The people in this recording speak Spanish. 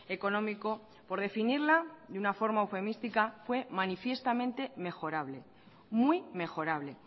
económico por definirla de una forma eufemística fue manifiestamente mejorable muy mejorable